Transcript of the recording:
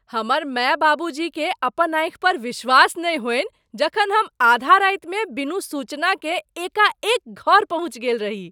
हमर माय बाबूजीकेँ अपन आँखि पर विश्वास नहि होइन जखन हम आधा रातिमे बिनु सूचनाकेँ एकाएक घर पहुँचि गेल रही।